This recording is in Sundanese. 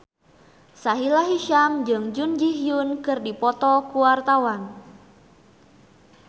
Sahila Hisyam jeung Jun Ji Hyun keur dipoto ku wartawan